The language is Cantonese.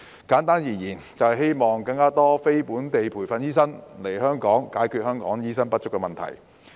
簡單而言，修例目的是希望讓更多非本地培訓醫生來港，解決香港醫生不足的問題。